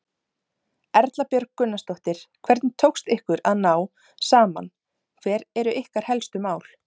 Erla Björg Gunnarsdóttir: Hvernig tókst ykkur að ná saman, hver eru ykkar helstu mál?